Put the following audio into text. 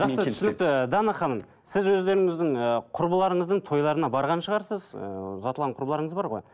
түсінікті дана ханым сіз өздеріңіздің ііі құрбыларыңыздың тойларына барған шығарсыз ііі ұзатылған құрбыларыңыз бар ғой